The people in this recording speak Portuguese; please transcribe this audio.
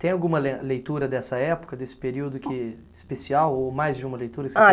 Tem alguma le leitura dessa época, desse período que, especial, ou mais de uma leitura?